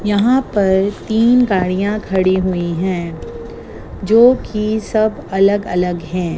यहां पर तीन गाड़ियां खड़ी हुई हैं जो कि सब अलग अलग हैं।